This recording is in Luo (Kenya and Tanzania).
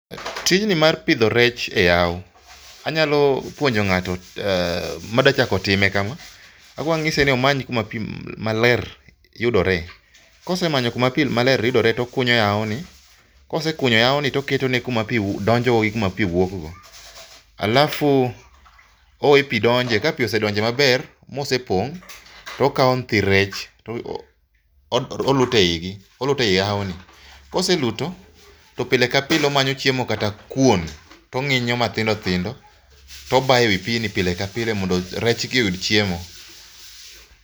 Tijni mar pidho rech e yawo, anyalo puonjo ng'ato madwa chako time kama, akuongo anyise ni omany kuma pi maler yudore. Kosemanyo kuma pi maler yudore to okunyo yawoni, kosekunyo yawoni to oketone kuma pi donjo gi kuma pi wuokgo. Alafu oweyo pi donjo kosedonjo ma opong' okawo nyithi rech oluto eigi, oluto ei yawoni. Koseluto to pile ka pile omanyo chiemo kata kuon to ong'injo matindo tindo to obayo ewi npigni pile ka pile mondo rechgi oyud chiemo.